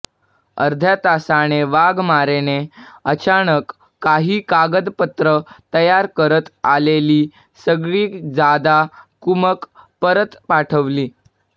अर्ध्या तासाने वाघमारेने अचानक काही कागदपत्र तयार करत आलेली सगळी जादा कुमक परत पाठवली